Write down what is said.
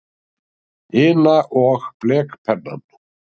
ina og blekpennann.